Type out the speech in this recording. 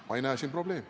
Ma ei näe siin probleemi.